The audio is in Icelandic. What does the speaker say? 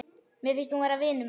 Mér finnst hún vera vinur minn.